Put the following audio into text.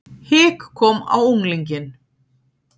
Hik kom á unglinginn.